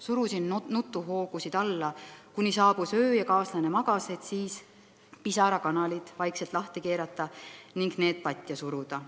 Surusin nutuhoogusid alla, kuni saabus öö ja kaaslane magas, et siis pisarakanalid vaikselt lahti keerata ning need patja suruda.